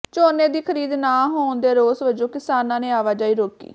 ਝੋਨੇ ਦੀ ਖਰੀਦ ਨਾ ਹੋਣ ਦੇ ਰੋਸ ਵਜੋਂ ਕਿਸਾਨਾਂ ਨੇ ਆਵਾਜਾਈ ਰੋਕੀ